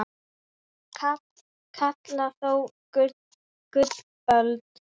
kalla þó gullöld